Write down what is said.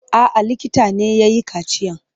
A'a, likita ne ya yi kaciyan.